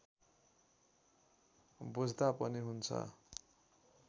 बुझ्दा पनि हुन्छ